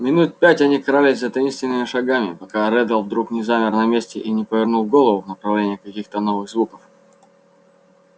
минут пять они крались за таинственными шагами пока реддл вдруг не замер на месте и не повернул голову в направлении каких-то новых звуков